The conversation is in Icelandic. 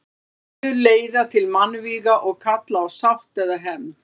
Deilur leiða til mannvíga og kalla á sátt eða hefnd.